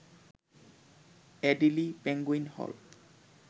Adelie penguin হল